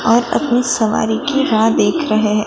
और अपनी सवारी की राह देख रहे हैं।